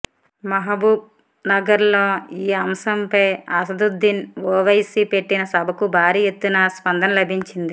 మహబూబ్నగర్లో ఈ అంశంపై అసదుద్దీన్ ఒవైసీ పెట్టిన సభకు భారీ ఎత్తున స్పందన లభించింది